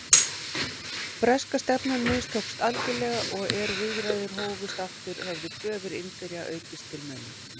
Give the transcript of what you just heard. Breska stefnan mistókst algjörlega og er viðræður hófust aftur, höfðu kröfur Indverja aukist til muna.